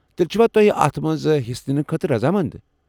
تیٚلہِ چھِوا تُہۍ اتھ منٛز حصہٕ ننہٕ خٲطرٕ رضامند ؟